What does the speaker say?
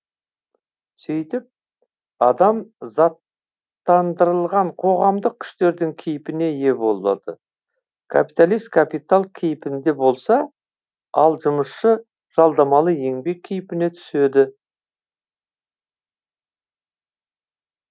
сөйтіп адам заттандырылған қоғамдық күштердің кейпіне ие болады капиталист капитал кейпінде болса ал жұмысшы жалдамалы еңбек кейпіне түседі